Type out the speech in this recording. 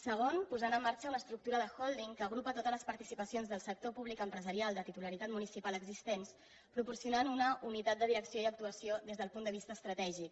segon posant en marxa una estructura de holdingtotes les participacions del sector públic empresarial de titularitat municipal existents que proporciona una unitat de direcció i actuació des del punt de vista estratègic